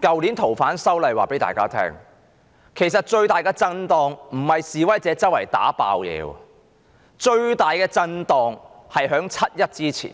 去年的反修例事件告知大家，最大的震盪並非示威者四處破壞，而是在7月1日前